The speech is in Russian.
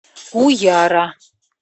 уяра